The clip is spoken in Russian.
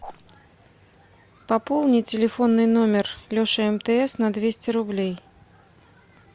пополни телефонный номер леша мтс на двести рублей